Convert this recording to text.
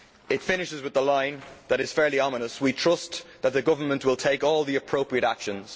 It finishes with a line that is fairly ominous We trust that the Government will take all the appropriate actions'.